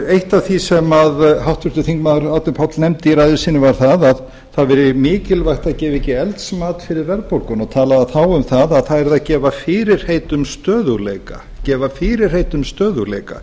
eitt af því sem háttvirtur þingmaður árni páll nefndi í ræðu sinni var að það væri mikilvægt að gefa ekki eldsmat fyrir verðbólguna og talaði þá um að það yrði að gefa fyrirheit um stöðugleika